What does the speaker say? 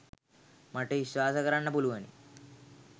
මට විශ්වාස කරන්න පුළුවනි.